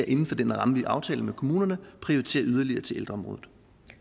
inden for den ramme vi aftaler med kommunerne prioriterer yderligere til ældreområdet